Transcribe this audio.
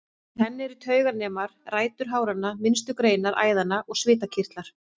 Í henni eru tauganemar, rætur háranna, minnstu greinar æðanna og svitakirtlar.